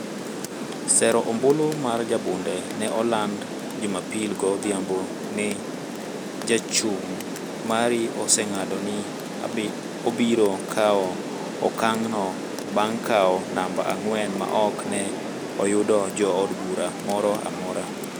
Sero ombulu mar Jabunde ne oland jumapil go dhiambo ni jachung mari oseng'ado ni obiro kao okang' no bang kao namba ang'wen ma ok ne oyudo jo od bura moro amora